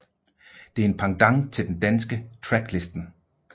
Det er en pendant til den danske Tracklisten